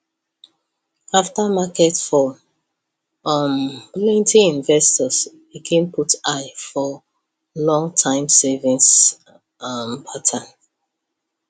after market fall um plenty investors begin put eye for longterm savings um pattern